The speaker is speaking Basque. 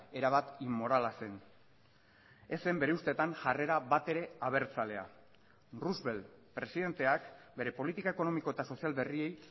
erabat inmorala zen ez zen bere ustetan jarrera batere abertzalea roosevelt presidenteak bere politika ekonomiko eta sozial berriei